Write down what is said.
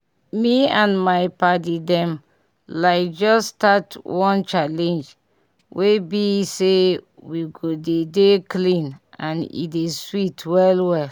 me and my padi dem like just start one challenge wey bi say we go dey dey clean and e dey sweet well well